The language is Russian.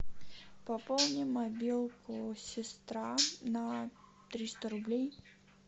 пополни мобилку сестра на триста рублей